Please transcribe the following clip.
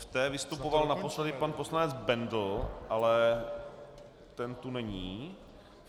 V té vystupoval naposledy pan poslanec Bendl, ale ten tu není.